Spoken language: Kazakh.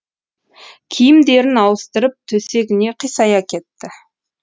киімдерін ауыстырып төсегіне қисая кетті